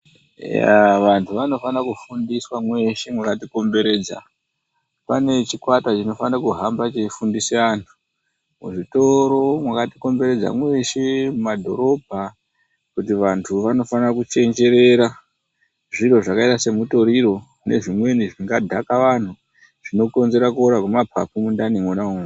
Eyaaa vanhu vanofana kufundiswa mweshe mwakati komberedza. Pane chikwata chinofane kuhamba cheifundise antu, muzvitoro mwakati komberedza mweshe mumadhorobha kuti vantu vanofana kuchenjerera, zviro zvakaita semutoriro nezvimweni zvingadhaka vanhu, zvinokonzera kuora kwemaphaphu mundani mwona umwomwo.